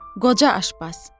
Qoca aşpaz.